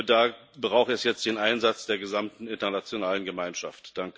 Da braucht es jetzt den Einsatz der gesamten internationalen Gemeinschaft.